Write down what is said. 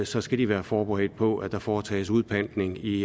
så skal de være forberedt på at der foretages udpantning i